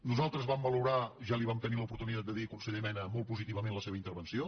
nosaltres vam valorar ja vam tenir l’oportunitat de dir li ho conseller mena molt positivament la seva intervenció